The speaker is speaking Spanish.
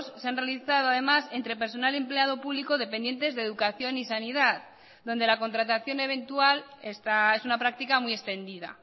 se han realizado además entre personal empleado público dependientes de educación y sanidad donde la contratación eventual es una práctica muy extendida